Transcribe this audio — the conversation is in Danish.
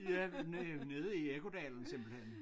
Ja nede nede i Ekkodalen simpelthen